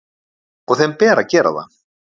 Og þeim ber að gera það.